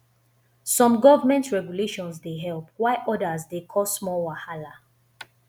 some government regulations dey help while odas dey cause more wahala